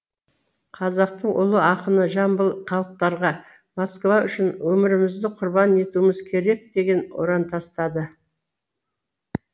қазақтың ұлы ақыны жамбыл халықтарға москва үшін өмірімізді құрбан етуіміз керек деген ұран тастады